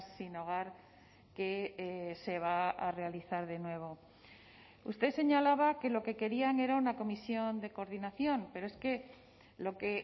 sin hogar que se va a realizar de nuevo usted señalaba que lo que querían era una comisión de coordinación pero es que lo que